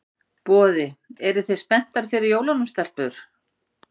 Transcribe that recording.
Boði: Eruð þið spenntar fyrir jólunum, stelpur?